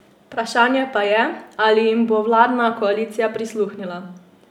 Vprašanje pa je, ali jim bo vladna koalicija prisluhnila.